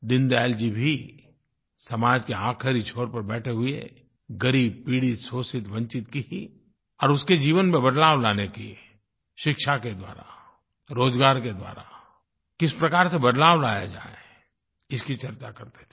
दीनदयाल जी भी समाज के आखिरी छोर पर बैठे हुए ग़रीब पीड़ित शोषित वंचित की ही और उसके जीवन में बदलाव लाने की शिक्षा के द्वारा रोज़गार के द्वारा किस प्रकार से बदलाव लाया जाये इसकी चर्चा करते थे